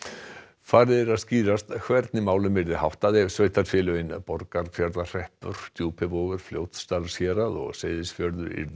farið er að skýrast hvernig málum yrði háttað ef sveitarfélögin Borgarfjarðarhreppur Djúpivogur Fljótsdalshérað og Seyðisfjörður yrðu